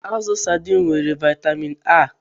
Azụ sadiin nwere vaịtamịn A.